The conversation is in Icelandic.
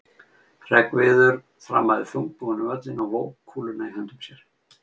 Hreggviður þrammaði þungbúinn um völlinn og vóg kúluna í höndum sér.